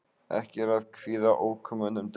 Ekki er að kvíða ókomnum degi.